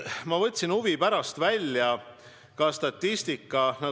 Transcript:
Ma võtsin huvi pärast välja statistika.